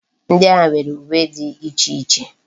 Ndi agha nwere uwe di iche iche